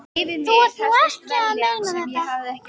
Þú ert nú ekki að meina þetta!